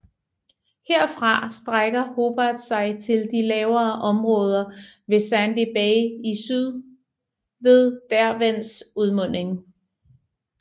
Herfra strækker Hobart sig til de lavere områder ved Sandy Bay i syd ved Derwents udmunding